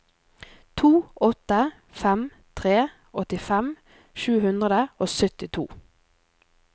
to åtte fem tre åttifem sju hundre og syttito